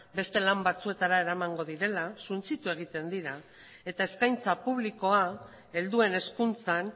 beste lan batzuetara eramango direla suntsitu egiten dira eta eskaintza publikoa helduen hezkuntzan